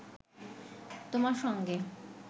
তোমার সঙ্গে